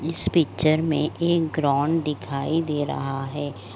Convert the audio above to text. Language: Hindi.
इस पिक्चर मे एक ग्रोंड दिखाई दे रहा है |